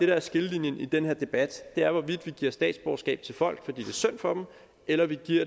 der er skillelinjen i den her debat er hvorvidt vi giver statsborgerskab til folk fordi det er synd for dem eller vi giver